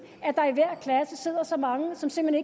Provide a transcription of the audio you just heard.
have sidder så mange som simpelt